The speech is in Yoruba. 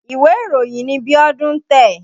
Ìwé ìròyìn ni Bíọ́dún ń tẹ̀.